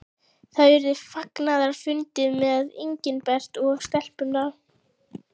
Það urðu fagnaðarfundir með Engilbert og stelpunum.